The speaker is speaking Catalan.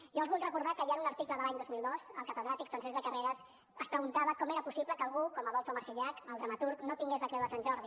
jo els vull recordar que ja en un article de l’any dos mil dos el catedràtic francesc de carreras es preguntava com era possible que algú com adolfo marsillach el dramaturg no tingués la creu de sant jordi